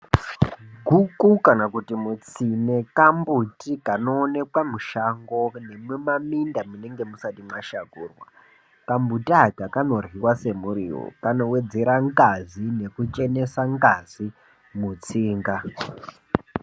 Guku kana kuti mutsine kambuti kano onekwa mushango nemuma minda munenge musati mashakurwa ka mbuti aka kano ryiwa se muriwo kano wedzera ngazi ngeku chenesa ngazi mutsinga.